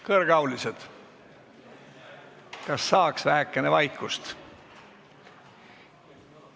Kõrgeaulised, kas saaks vähekene vaikust?